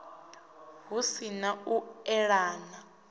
hu si na u eḓana